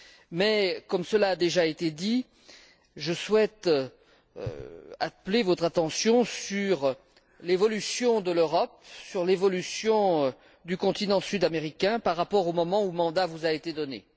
Mais, comme cela a déjà été dit, je souhaite attirer votre attention sur l'évolution de l'Europe, sur l'évolution du continent sud américain, par rapport au moment où mandat vous a été donné.